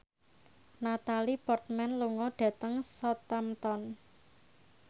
Natalie Portman lunga dhateng Southampton